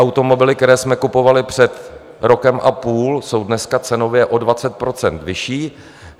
Automobily, které jsme kupovali před rokem a půl, jsou dneska cenově o 20 % vyšší.